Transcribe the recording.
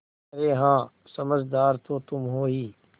अरे हाँ समझदार तो तुम हो ही